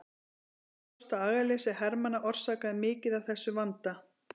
Þó er ljóst að agaleysi hermanna orsakaði mikið af þessum vanda.